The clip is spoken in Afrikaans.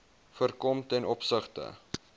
voorkom ten opsigte